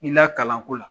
I lakalanko la